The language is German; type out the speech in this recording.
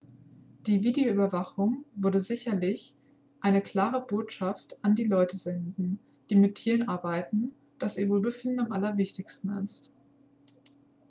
"""die videoüberwachung würde sicherlich eine klare botschaft an die leute senden die mit tieren arbeiten dass ihr wohlbefinden am allerwichtigsten ist.""